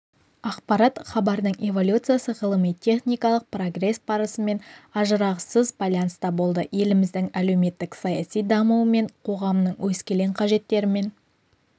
ақпарат хабардың эволюциясы ғылыми-техникалық прогресс барысымен ажырағысыз байланыста болды еліміздің әлеуметтік-саяси дамуымен қоғамның өскелең қажеттерімен